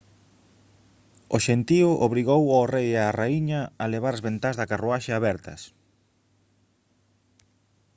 o xentío obrigou ao rei e á raíña a levar as ventás da carruaxe abertas